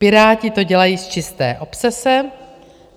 Piráti to dělají z čisté obsese.